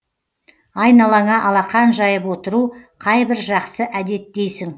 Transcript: айналаңа алақан жайып отыру қайбір жақсы әдет дейсің